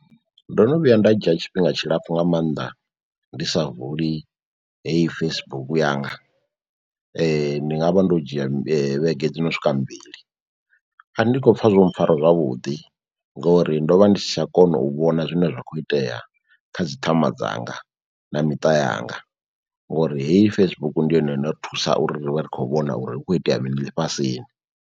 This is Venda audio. Ndo no vhuya nda dzhia tshifhinga tshilapfhu nga mannḓa ndi sa vuli heyi Facebook yanga, ndi nga vha ndo dzhia vhege dzi no swika mbili. A ndi khopfa zwo mpfhara zwavhuḓi ngori ndo vha ndi si tsha kona u vhona zwine zwa kho itea kha dzi ṱhama dzanga na miṱa yanga, ngori heyi Facebook ndi yone yo no ri thusa uri ri vhe ri khou vhona uri hu kho itea mini ḽifhasini.